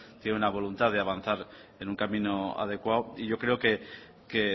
tiene una voluntad de avanzar en un camino adecuado y yo creo que